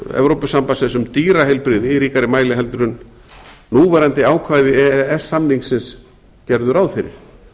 evrópusambandsins um dýraheilbrigði í ríkari mæli en núverandi ákvæði e e s samningsins gerðu ráð fyrir